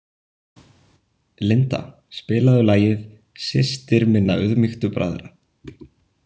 Linda, spilaðu lagið „Systir minna auðmýktu bræðra“.